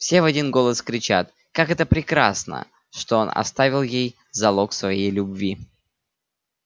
все в один голос кричат как это прекрасно что он оставил ей залог своей любви